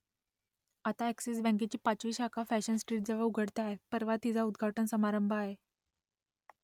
आता अ‍ॅक्सिस बँकेची पाचवी शाखा फॅशन स्ट्रीटजवळ उघडते आहे परवा तिचा उद्घाटन समारंभ आहे